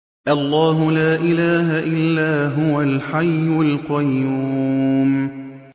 اللَّهُ لَا إِلَٰهَ إِلَّا هُوَ الْحَيُّ الْقَيُّومُ